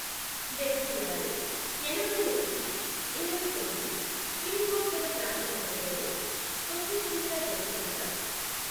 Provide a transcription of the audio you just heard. డభైఆరు, ఎనభైఒకటి, ఇరవైతొమ్మిది, pin code గల ప్రాంతం దగ్గరలో స్పుత్నిక్ టీకా దొరుకుతుందా?